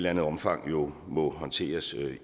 andet omfang jo må håndteres